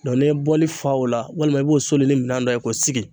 Dɔn ne ye bɔli fa o la walima i b'o soli ni minan dɔ ye k'o sigi